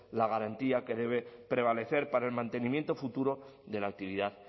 la garantía que debe prevalecer para el mantenimiento futuro de la actividad